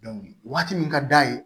waati min ka d'a ye